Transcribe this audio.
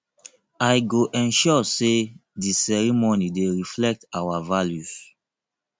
i go ensure say di ceremony dey reflect our values